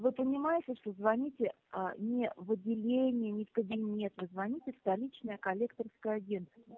вы понимаете что звоните а не в отделение не в кабинета вы звоните в столичное коллекторское агентство